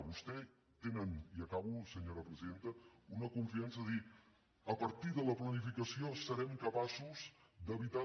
vostès tenen i acabo senyora presidenta una confiança de dir a partir de la planificació serem capaços d’evitar